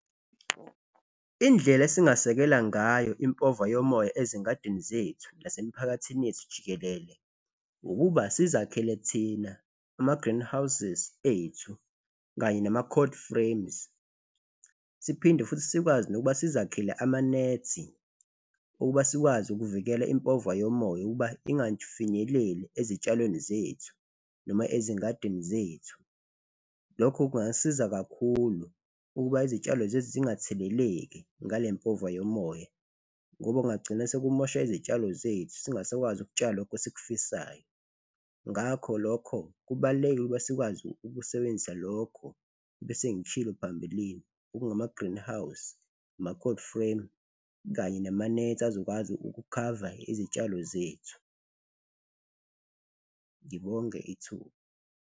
Indlela esingasekela ngayo impova yomoya ezingadini zethu nasemiphakathini yethu jikelele, ukuba sizakhele thina ama-greenhouses ethu kanye nama-cold frames siphinde futhi sikwazi nokuba sizakhele amanethi ukuba sikwazi ukuvikela impova yomoya ukuba ingafinyeleli ezitshalweni zethu noma ezingadini zethu. Lokho kungasiza kakhulu ukuba izitshalo zethu zingatheleleki ngale mpova yomoya ngoba kungagcina sekumosha izitshalo zethu, singasakwazi ukutshala lokho esikufisayo. Ngakho lokho, kubaluleke ukuba sikwazi ukusebenzisa lokho ebesengikushilo phambilini, okungama-greenhouse, ama-cold frame kanye nama-net azokwazi ukukhava izitshalo zethu. Ngibonge ithuba.